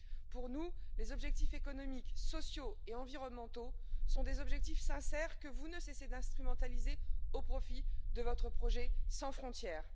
Pour nous, les objectifs économiques, sociaux et environnementaux sont des objectifs sincères que vous ne cessez d'instrumentaliser au profit de votre projet sans frontières.